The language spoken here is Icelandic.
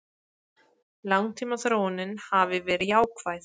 Langtímaþróunin hafi verið jákvæð